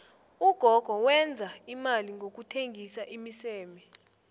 ugogo wenza imali ngokuthengisa imiseme